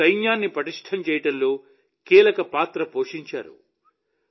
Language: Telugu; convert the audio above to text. మన సైన్యాన్ని పటిష్టం చేయడంలో కీలక పాత్ర పోషించారు